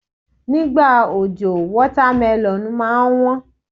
Ní ìgbà òjò, wọ́támélọ̀n máa ń wón.